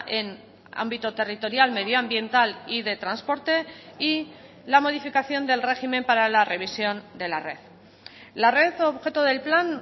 en ámbito territorial medioambiental y de transporte y la modificación del régimen para la revisión de la red la red objeto del plan